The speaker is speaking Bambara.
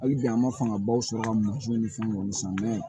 Hali bi an ma fangabaw sɔrɔ ka mɔtiw ni fɛnw san